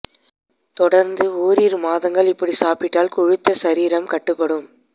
தொடர்ந்து ஓரிரு மாதங்கள் இப்படி சாப்பிட்டால் கொழுத்த சரீரம் கட்டுப்படும்